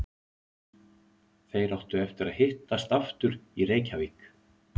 Þeir áttu eftir að hittast aftur í Reykjavík.